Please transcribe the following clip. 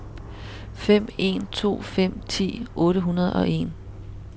fem en to fem ti otte hundrede og en